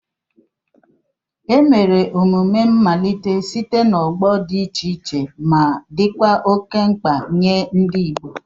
Emere emume mmalite site n'ọgbọ dị iche iche ma dịkwa oke mkpa nye ndị Igbo.